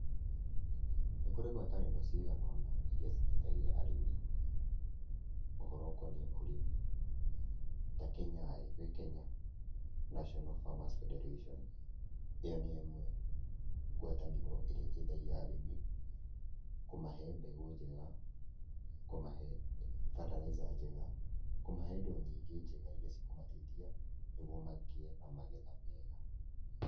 Nĩ kũrĩ ngwatanĩro cigana ũna iria citeithagia arĩmi ũhoro ũkoniĩ ũrĩmi, ta Kenyaĩ gwĩ Kenya National Farmers Federation, ĩyo nĩyo ĩmwe ngwatanĩro ĩrĩa ĩteithagia arĩmi kũmahe mbegũ njega, kũmahe bataraitha njega, kũmahe indo nyingĩ njega iria cikũmateithia, nĩguo magĩe na magetha mega.